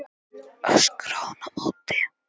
öskraði hún á móti.